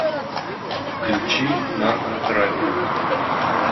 включи наркотрафик